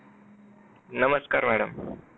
नमस्कार madam